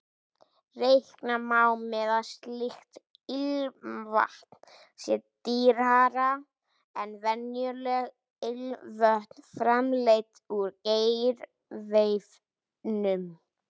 Reikna má með að slíkt ilmvatn sé dýrara en venjuleg ilmvötn framleidd úr gerviefnum.